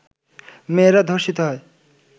মেয়েরা ধর্ষিত হয়